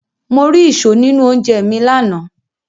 Mo ri ìṣó nínú oúnjẹ mi lánàá.